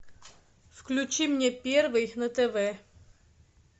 включи мне первый на тв